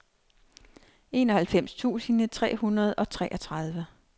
enoghalvfems tusind tre hundrede og treogtredive